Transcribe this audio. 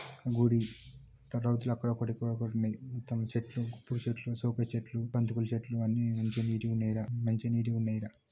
గుడి బంతి పూల చెట్లు మంచిగా నీటి గ ఉన్నాయి ఇక్కడ.